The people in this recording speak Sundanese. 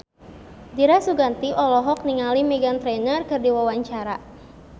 Dira Sugandi olohok ningali Meghan Trainor keur diwawancara